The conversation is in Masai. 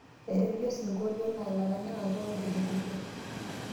etipija asinkolio naa ilaranyak ake ootelekutwa